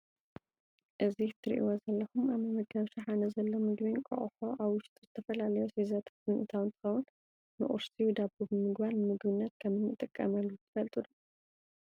እዚ እትሪእዎ ዘለኹም ኣብ መመገቢ ሸሓነ ዘሎ ምግቢ እንቋቁሖ ኣብ ውሽጡ ዝተፈላለዩ ኣስበዛታት ብምእታው እንትኸውን ንቁርሲ ብዳቦ ብምግባር ንምግብነት ከም እንጥቀመሉ ትፈልጡ ዶ?